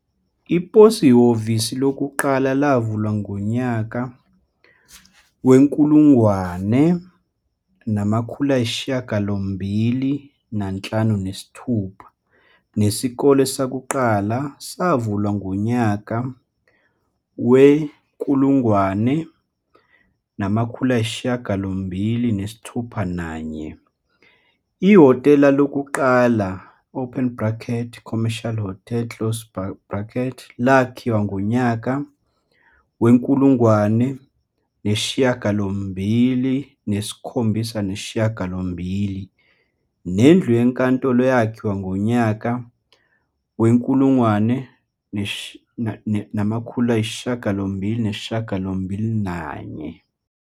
Iposi hhovisi lokuqala lavulwa ngonyaka we-1856 nesikole sokuqala savulwa ngonyaka we-1861. Ihhotela lokuqala, i-Commercial Hotel, lakhiwa ngonyaka we-1878 nendlu yenkantolo yakhiwa ngonyaka we-1881.